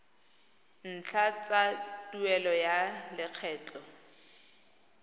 ntlha tsa tuelo ya lekgetho